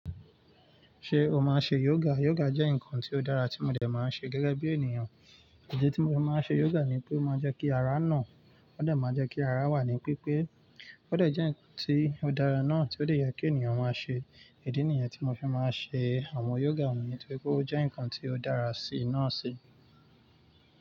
Ṣé o máa ṣe yoga? Yoga jẹ́ nǹkan tó dára tí mo dẹ̀ máa ń ṣe gẹ́gẹ́ bí ènìyàn. Ìdí tí mo fi máa ń ṣe yoga ni pé ó máa ń jẹ́ kí ara nà, ó dà máa jẹ́ kí ara wà ní pípé, ó dà jẹ́ ǹkan tí ó dára náà tí ó dẹ̀ yẹ kí ènìyàn máa ṣe. Ìdí nìyẹn tí mo fi máa ń ṣe àwọn yoga mi nítorí pé ó jẹ́ ǹkan tí ó dára sí iná si.